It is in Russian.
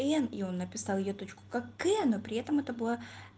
н и он написал ей тачку как к но при этом это была